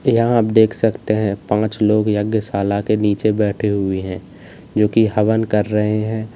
यहां आप देख सकते हैं पांच लोग यज्ञशाला के नीचे बैठे हुए हैं जो की हवन कर रहे हैं।